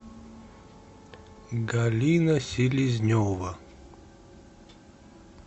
галина селезнева